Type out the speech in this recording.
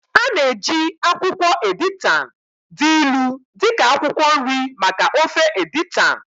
A na-eji akwụkwọ editan dị ilu dị ka akwụkwọ nri maka ofe editan